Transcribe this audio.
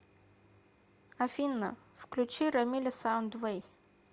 афина включи рамиля саундвэй